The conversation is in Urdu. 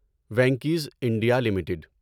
Venky's India limited